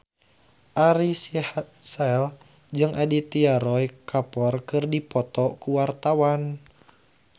Ari Sihasale jeung Aditya Roy Kapoor keur dipoto ku wartawan